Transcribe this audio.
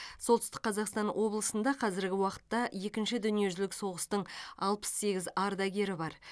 солтүстік қазақстан облысында қазіргі уақытта екінші дүниежүзілік соғыстың алпыс сегіз ардагері бар